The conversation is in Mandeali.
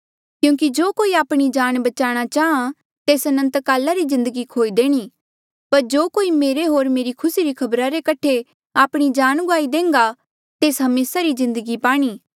क्यूंकि जो कोई आपणी जान बचाणा चाहां तेस अनंतकाला री जिन्दगी खोई देणी पर जो कोई मेरे होर मेरे खुसी री खबरा रे कठे आपणी जान गुआई देह्न्गा तेस हमेसा री जिन्दगी पाणी